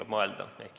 Ka sellele tuleb mõelda.